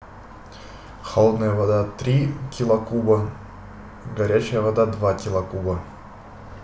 холодная вода три килокуба горячая вода два килокуба